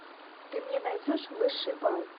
ты мне найдешь высший бал